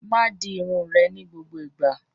Máa di irun rẹ ni gbogbo igba!